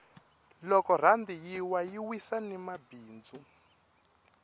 loko rhandi yi wa yi wisa ni mabindzu